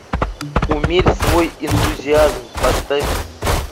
умерь свой энтузиазм поставь